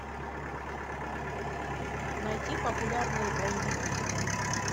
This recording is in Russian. найти популярные боевики